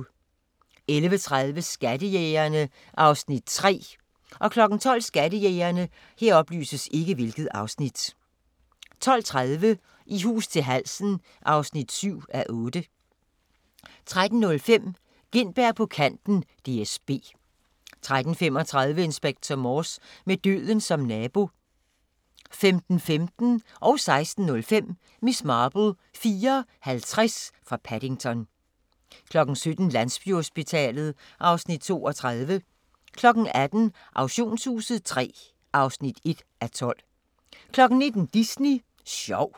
11:30: Skattejægerne (Afs. 3) 12:00: Skattejægerne 12:30: I hus til halsen (7:8) 13:05: Gintberg på kanten - DSB 13:35: Inspector Morse: Med døden som nabo 15:15: Miss Marple: 4:50 fra Paddington 16:05: Miss Marple: 4:50 fra Paddington 17:00: Landsbyhospitalet (Afs. 32) 18:00: Auktionshuset III (1:12) 19:00: Disney sjov